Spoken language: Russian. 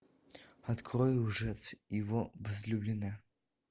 открой лжец и его возлюбленная